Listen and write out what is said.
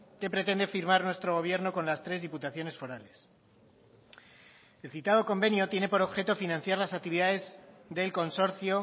que pretende firmar nuestro gobierno con las tres diputaciones forales el citado convenio tiene por objeto financiar las actividades del consorcio